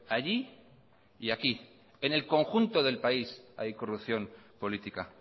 allí y aquí en el conjunto del país hay corrupción política